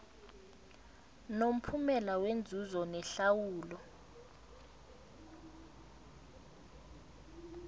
nomphumela wenzuzo nehlawulo